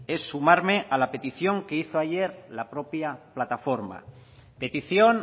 es sumarme a la petición que hizo ayer la propia plataforma petición